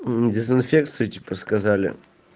дезинфекция типа сказали